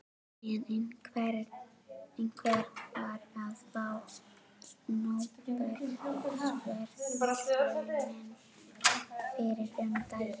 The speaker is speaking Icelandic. Sem einhver var að fá Nóbelsverðlaunin fyrir um daginn.